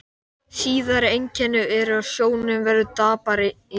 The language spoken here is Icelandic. Síðari einkenni eru að sjónin verður daprari í rökkri.